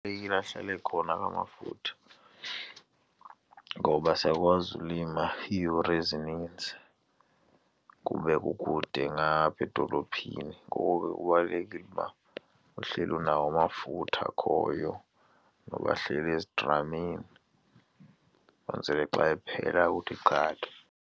ahlale ekhona la mafutha ngoba siyakwazi ulima iiyure ezininzi kube kukude ngaphaa edolophini. Ngoko ke kubalulekile uba uhleli unawo amafutha akhoyo noba ahleli ezidramini kwenzele xa ephela uthi qatha.